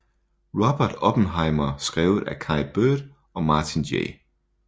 Robert Oppenheimer skrevet af Kai Bird og Martin J